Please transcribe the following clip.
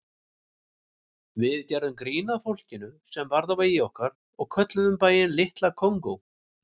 Við gerðum grín að fólkinu sem varð á vegi okkar og kölluðum bæinn Litla Kongó.